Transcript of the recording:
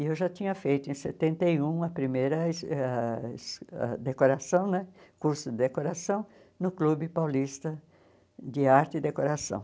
E eu já tinha feito, em setenta e um, a primeira es ãh es ãh decoração né, curso de decoração, no Clube Paulista de Arte e Decoração.